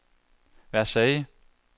Versailles